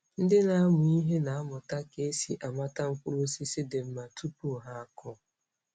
Ndị na-amụ ihe na-amụta ka esi amata mkpụrụ osisi dị mma tupu ha akụ.